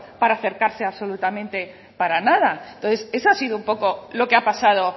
para acercarse absolutamente para nada entonces eso ha sido un poco lo que ha pasado